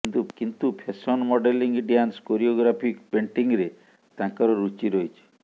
କିନ୍ତୁ fashion modelling dance choreography ପେଣ୍ଟିଂରେ ତାଙ୍କର ରୁଚି ରହିଛି